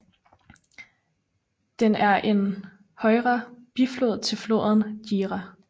Den er en højre biflod til floden Jijia